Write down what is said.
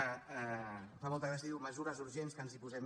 em fa molta gràcia diu mesures urgents que ens hi posem